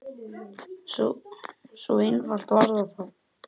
Svo einfalt var það þá.